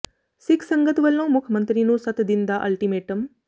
ਸਿੱਖ ਸੰਗਤ ਵਲੋਂ ਮੁੱਖ ਮੰਤਰੀ ਨੂੰ ਸੱਤ ਦਿਨ ਦਾ ਅਲਟੀਮੇਟਮ